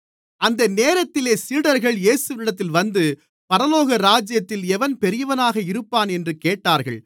அந்த நேரத்திலே சீடர்கள் இயேசுவினிடத்தில் வந்து பரலோகராஜ்யத்தில் எவன் பெரியவனாக இருப்பான் என்று கேட்டார்கள்